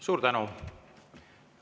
Suur tänu!